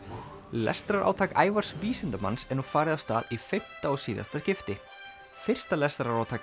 lestrarátak Ævars vísindamanns er nú farið af stað í fimmta og síðasta skipti fyrsta lestrarátak